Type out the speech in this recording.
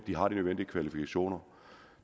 har de nødvendige kvalifikationer